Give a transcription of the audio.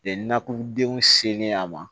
nakɔdenw selen a ma